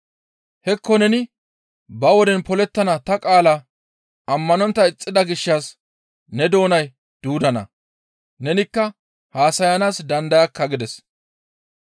Hekko neni ba woden polettana ta qaala ammanontta ixxida gishshas ne doonay duudana; nenikka haasayana dandayakka» gides.